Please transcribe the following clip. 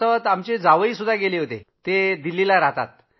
आमचे जावईही गेले होते ते दिल्लीला राहतात